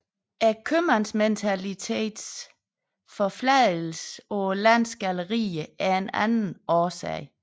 Købmandsmentalitetens forfladigelse på landets gallerier er en anden årsag